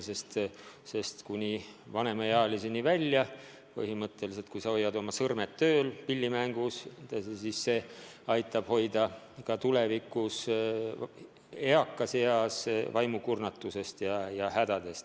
Kui sa kuni vanemaealiseks saamiseni hoiad oma sõrmed pilli mängides tööl, siis see aitab ka vanemas eas ära hoida vaimukurnatuse ja muud hädad.